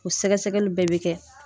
O sɛgɛsɛgɛli bɛɛ bɛ kɛ.